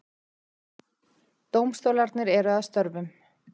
Dómstólarnir eru að störfum